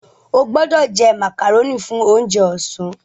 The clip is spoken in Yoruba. O gbódò jé macaroni fún oúnjẹ ọsán!